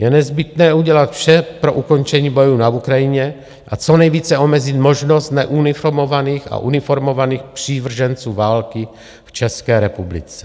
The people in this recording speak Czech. Je nezbytné udělat vše pro ukončení bojů na Ukrajině a co nejvíce omezit možnost neuniformovaných a uniformovaných přívrženců války v České republice.